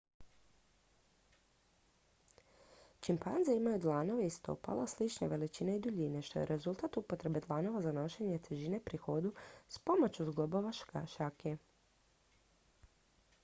čimpanze imaju dlanove i stopala slične veličine i duljine što je rezultat upotrebe dlanova za nošenje težine pri hodu s pomoću zglobova šake